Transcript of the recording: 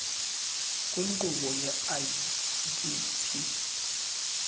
kwinkqubo ye idp